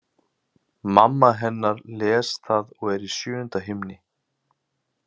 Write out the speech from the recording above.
Mamma hennar les það og er í sjöunda himni.